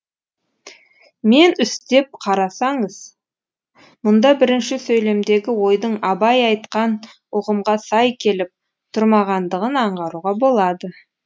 мән үстеп қарасаңыз мұнда бірінші сөйлемдегі ойдың абай айтқан ұғымға сай келіп тұрмағандығын аңғаруға болады